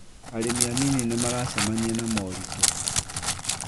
arĩmi anini nĩ maracemania na moritũ